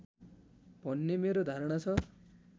भन्ने मेरो धारणा छ